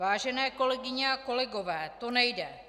Vážené kolegyně a kolegové, to nejde.